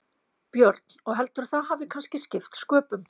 Björn: Og heldurðu að það hafi kannski skipt sköpum?